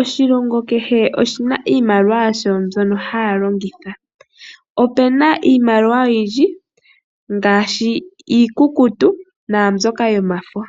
Oshilongo kehe oshina iimaliwa yasho mbyono haya longitha. Otuna iimaliwa oyindji ngaashi iikutu naa mbyoka yomafo.